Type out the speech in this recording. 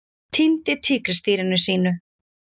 Týndi tígrisdýrinu sínu